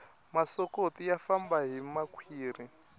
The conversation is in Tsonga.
masokoti ya famba hi makhwiri